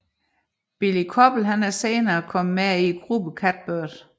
Billie Koppel er senere indgået i gruppen Catbird